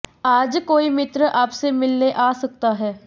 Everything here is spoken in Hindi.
आज कोई मित्र आपसे मिलने आ सकता है